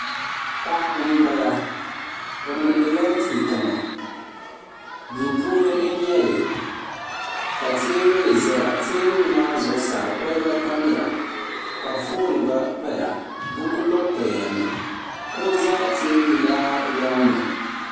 Paɣa m-bala o mindila duu tiŋa duu puuni n-nyɛ li ka teebuli zaya teebuli maa zuɣusaa koliba tamya ka foon gba paya buku gba pa mi kuɣu za teebuli maa lɔŋni.